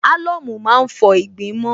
Álọ̀mù má ń fọ ìgbín mọ́n